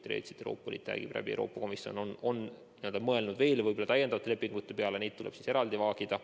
Ja tõesti Euroopa Liit või konkreetsemalt Euroopa Komisjon on mõelnud veel täiendavate lepingute peale, neid tuleb siis eraldi vaagida.